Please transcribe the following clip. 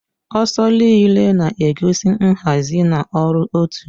Ọsọ rịlè na-egosi nhazi na ọrụ otu